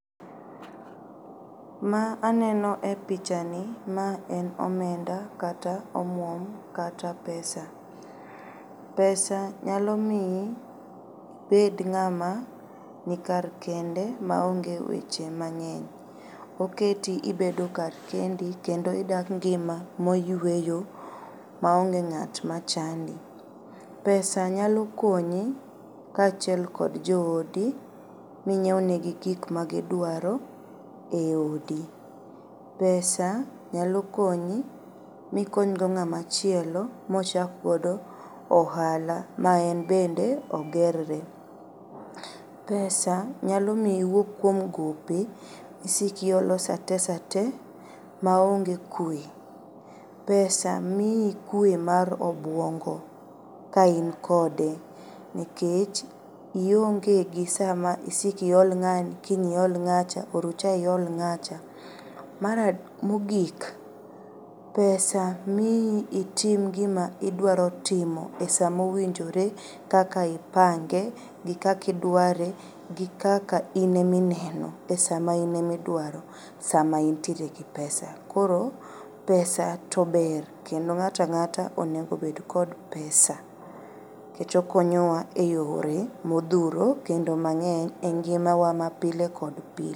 Ma aneno e pichani ma en omenda kata omuom kata pesa. Pesa nyalomii ibed ng'ama nikar kende maonge weche mang'eny. Oketi ibedo kar kendi kendo idak ngima moyueyo maonge ng'at machandi. Pesa] nyalo konyi kachiel kod joodi minyieunegi gik magiduaro eodi. Pesa nyalokonyi mikonygo ng'ama chielo mochak godo ohala ma en bende ogerre. Pesa nyalomiyo iwuog kuom gope misiko iolo saa te saa te maonge kue. Pesa mii kue mar obuongo ka in kode nikech iongegi saa ma isik iol ng'ani, kiny iol ng'acha, orucha iol ng'acha. Mar mogik pesa mii itim gima idwaro timo e saa mowinjore kaka ipange gi kaka idware gi kaka ine mineno pesa mainemidwaro sama intiere gi pesano. Koro pesa tober kendo ng'atang'ata onegobed kod pesa kech okonyowa e yore modhuro kendo mang'eny e ngimawa mapile kod pile.